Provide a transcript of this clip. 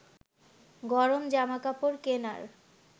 গরম জামা কাপড় কেনার